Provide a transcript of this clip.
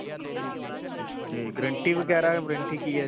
'ਤੇ guarantee ਵਗੈਰਾ warranty ਕੀ ਹੈ ਇਹਦੀ?